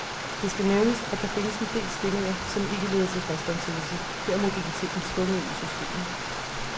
Det skal nævnes, at der findes en del stillinger, som ikke leder til fastansættelse, her er mobiliteten tvunget ind i systemet.